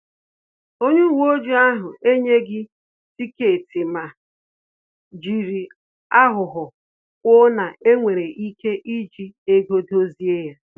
Onye uwe ojii ahụ enyeghi tiketi ma jiri aghụghọ kwuo na enwere ike iji ego dozie ya